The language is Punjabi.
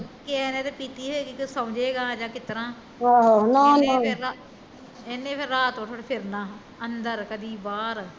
ਕਿਸੇ ਨੇ ਜੇ ਪੀਤੀ ਹੋਏਗੀ ਵੀ ਸੋਜੇਗਾ ਯਾ ਕਿਸ ਤਰਾਂ ਇਹਨੇ ਫਿਰ ਰਾਤ ਉਠ ਉਠ ਫਿਰਨਾ ਕਦੀ ਅੰਦਰ ਕਦੀ ਬਾਹਰ